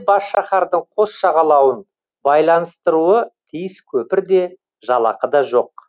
бас шаһардың қос жағалауын байланыстыруы тиіс көпір де жалақы да жоқ